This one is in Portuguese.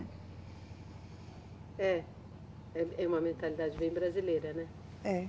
É. É, é uma mentalidade bem brasileira, né? É